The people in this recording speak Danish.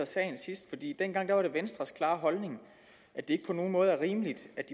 sagen sidst dengang var det venstres klare holdning at det ikke på nogen måde er rimeligt at